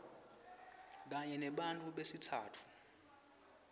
kanye nebantfu besitsatfu